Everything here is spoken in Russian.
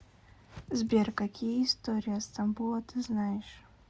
сбер какие история стамбула ты знаешь